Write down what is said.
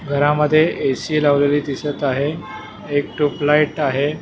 घरामध्ये A C लावलेली दिसत आहे एक ट्यूबलाईट आहे.